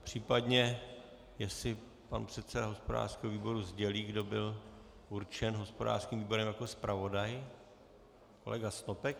Případně jestli pan předseda hospodářského výboru sdělí, kdo byl určen hospodářským výborem jako zpravodaj. Kolega Snopek.